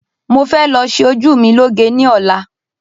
Mọ fẹ lọ ṣe ojú mi lọ́ge ní ọ̀la